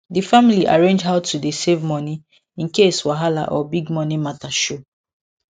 di family arrange how to dey save money in case wahala or big money matter show